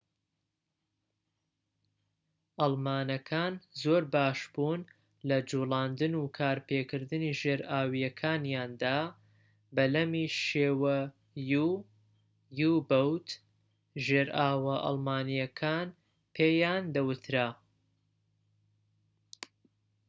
ژێرئاوە ئەڵمانیەکان پێیان دەوترا u-boat [بەلەمی شێوە یو]. ئەڵمانەکان زۆر باشبوون لە جوڵاندن و کارپێکردنی ژێرئاویەکانیاندا